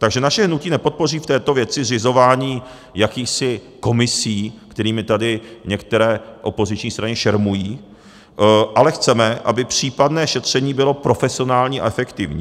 Takže naše hnutí nepodpoří v této věci zřizování jakýchsi komisí, kterými tady některé opoziční strany šermují, ale chceme, aby případné šetření bylo profesionální a efektivní.